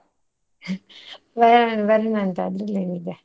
ಬರೋಣ ಬರೋಣಂತೆ ಆದ್ರಲ್ಲಿ ಏನಿದೆ.